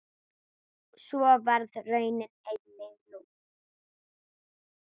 Svo varð raunin einnig nú.